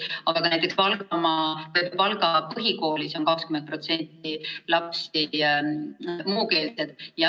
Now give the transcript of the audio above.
Aga ka näiteks Valga põhikoolis on 20% lastest muukeelsed.